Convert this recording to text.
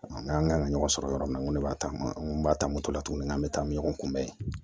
N k'an kan ka ɲɔgɔn sɔrɔ yɔrɔ min na n ko ne b'a ta an ko n b'a ta moto la tuguni n'an bɛ taa ni ɲɔgɔn kunbɛ ye